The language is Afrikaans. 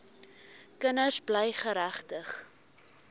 kinders bly geregtig